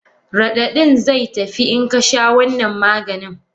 Radadin zai tafi inka sha wannan Maganin.